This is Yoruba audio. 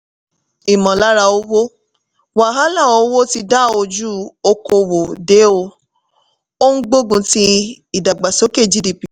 ìmọ̀lára owó: wàhálà owó tí da ojú okòwò dé ó ń gbógun ti ìdàgbàsókè gdp.